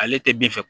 Ale tɛ bin fɛ